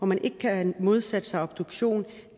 man ikke kan modsætte sig obduktion